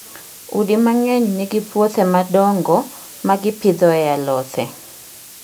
Udi mang'eny nigi puothe madongo ma gipidhoe alothe.